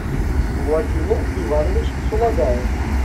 владимир иванович сулагаев